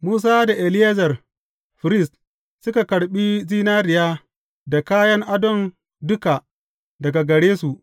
Musa da Eleyazar firist, suka karɓi zinariya da kayan adon duka daga gare su.